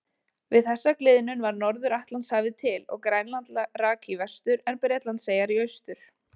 Við þessa gliðnun varð Norður-Atlantshafið til og Grænland rak í vestur en Bretlandseyjar í austur.